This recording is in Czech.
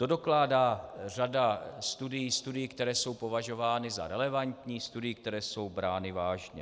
To dokládá řada studií, studií, které jsou považovány za relevantní, studií, které jsou brány vážně.